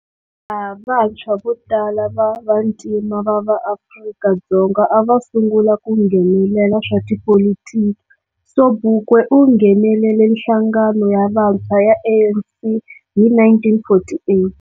Laha vantshwa votala va vantima va va Afrika-Dzonga ava sungula ku nghenelela swa tipolitiki, Sobukwe u nghenelele nhlangano ya vantshwa ya ANC hi 1948.